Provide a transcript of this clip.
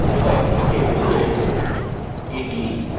এটি চিহ্ন দ্বারা দেখানো হচ্ছে যখন phpmyadmin ব্যবহার করি